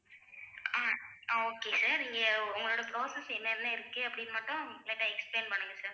ஆஹ் ah okay sir இங்க உங்களோட process என்னென்ன இருக்கு அப்படின்னு மட்டும் light ஆ explain பண்ணுங்க sir